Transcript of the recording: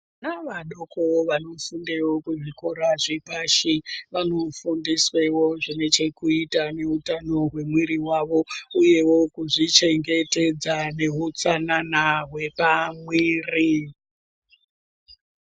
Vana vadoko vanofunde kuzvikora zvepashi vanofundiswewo zvine chekuita neutano wemuwiri wavo uyewo kuzvichengetedza neutsanana wepamwiri.